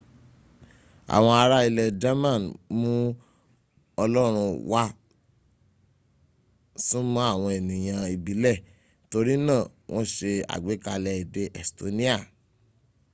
awọn ará ilẹ̀ german mú ọlọ́rún wá súnmọ́ àwọn ẹnìyàn ìbilẹ̀ torí náà wọ́n ṣe àgbékalẹ̀ èdè estonia